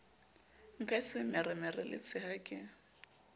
mphe semeremere le tshea ke